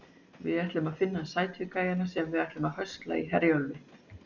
Við ætlum að finna sætu gæjana sem við ætlum að höstla í Herjólfi.